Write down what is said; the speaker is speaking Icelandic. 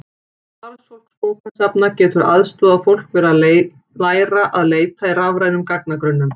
Starfsfólk bókasafna getur aðstoðað fólk við að læra að leita í rafrænum gagnagrunnum.